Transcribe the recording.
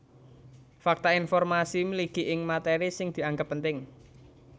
Fakta informasi mligi ing matéri sing dianggep penting